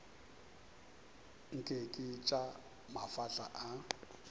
nke ke tša mafahla a